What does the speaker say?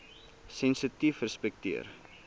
sensitiefrespekteer